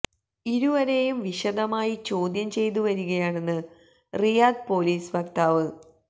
ഇരുവരെയും വിശദമായി ചോദ്യം ചെയ്തുവരികയാണെന്ന് റിയാദ് പോലീസ് വക്താവ് ലെഫ്